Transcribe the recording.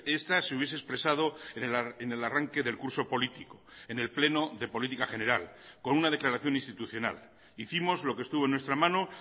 esta se hubiese expresado en el arranque del curso político en el pleno de política general con una declaración institucional hicimos lo que estuvo en nuestra mano